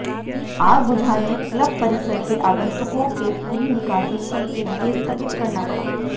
आग बुझाने क्लब परिसर के आगंतुकों की पूरी निकासी तक के लिए स्थगित करना पड़ा